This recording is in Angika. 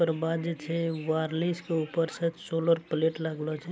दरबाजे छे ऊपर से सोलर प्लेट लगलो छे ।